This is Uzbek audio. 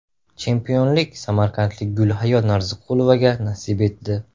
Chempionlik samarqandlik Gulhayo Narziqulovaga nasib etdi.